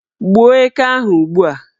Gbuo eke ahụ ugbua!